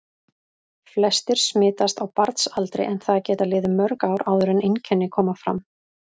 Flestir smitast á barnsaldri en það geta liðið mörg ár áður en einkenni koma fram.